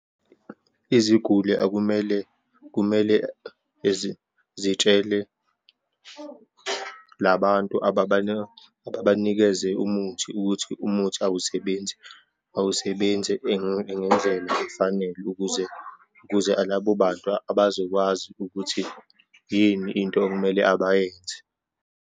Iziguli akumele, kumele zitshele labantu ababanikeze umuthi ukuthi umuthi awusebenzi, awusebenzi ngendlela efanele, ukuze kuze labo bantu abazokwazi ukuthi yini into okumele abayenze.